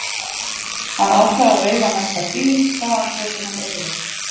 Hann ákvað að veifa næsta bíl hvaðan svo sem hann yrði.